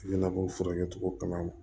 Ɲɛnabɔ furakɛli kama